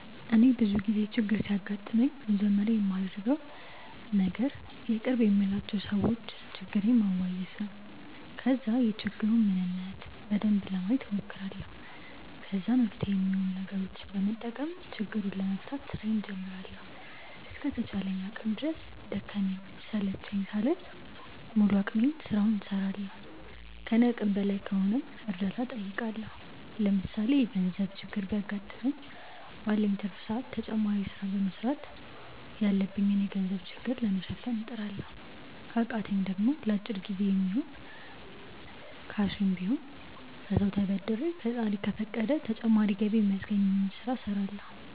እኔ ብዙ ጊዜ ችግር ሲያጋጥመኝ መጀመሪያ ማደርገው ነገር የቅርብ የምላቸው ሰዎች ችግሬን ማዋየት ነው። ከዛ የችግሩን ምንነት በደንብ ለማየት ሞክራለሁ። ከዛ መፍትሄ ሚሆኑ ነገሮችን በመጠቀም ችግሩን ለመፍታት ስራዬን ጀምራለሁ። እስከ ተቻለኝ አቅም ድረስ ደከመኝ ሰለቸኝ ሳልል በሙሉ አቅሜ ስራውን እስራለሁ። ከኔ አቅም በላይ ከሆነም እርዳታ ጠይቃለሁ። ለምሳሌ የገርዘብ ችግር ቢያገጥመኝ ባለኝ ትርፍ ጊዜ ተጨማሪ ስራ በመስራት ያለብኝን የገንዘብ ችግር ለመሸፈን እጥራለሁ። ከቃተኝ ደሞ ለአጭር ጊዜ የሚሆን ስሽም ቢሆን ከሰው ተበድሬ ፈጣሪ ከፈቀደ ተጨማሪ ገቢ ሚያስገኘኝን ስለ እስራለሁ።